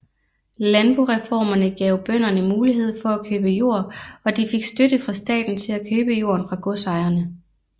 Landboreformerne gav bønderne mulighed for at købe jord og de fik støtte fra staten til at købe jorden fra godsejerne